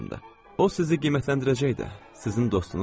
O sizi qiymətləndirəcək də, sizin dostunuz olacaq.